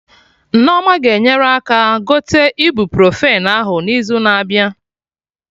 Nneoma ga-enyere aka gote ibuprofen ahụ n'izu na abịa